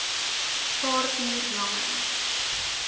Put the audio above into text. paar uur lange